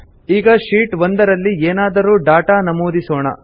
ಈಗ ಶೀಟ್ 1 ರಲ್ಲಿ ಏನಾದರೂ ಡಾಟಾ ನಮೂದಿಸೋಣ